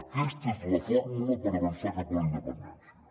aquesta és la fórmula per avançar cap a la independència